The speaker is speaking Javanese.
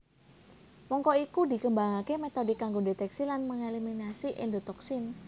Mangka iku dikembangake metode kanggo ndeteksi lan mengeliminasi endotoksin